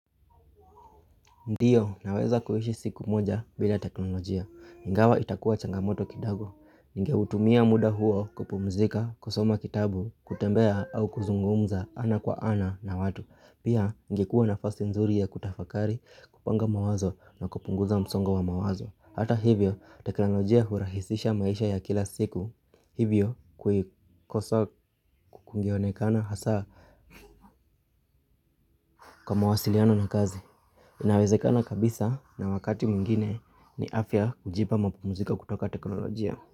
Ndiyo, naweza kuishi siku moja bila teknolojia. Ingawa itakuwa changamoto kidogo. Ningeutumia muda huo kupumzika, kusoma kitabu, kutembea au kuzungumza ana kwa ana na watu. Pia, ingekuwa nafasi nzuri ya kutafakari, kupanga mawazo na kupunguza msongo wa mawazo. Hata hivyo, teknolojia hurahisisha maisha ya kila siku. Hivyo, kuikosa kungeonekana hasa kwa mawasiliano na kazi. Inawezekana kabisa na wakati mwingine ni afya kujipa mapumziko kutoka teknolojia.